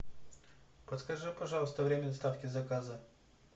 подскажи пожалуйста время доставки заказа